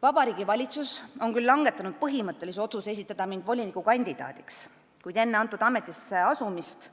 Vabariigi Valitsus on küll langetanud põhimõttelise otsuse esitada mind volinikukandidaadiks, kuid enne ametisse asumist